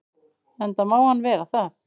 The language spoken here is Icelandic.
Enda má hann vera það.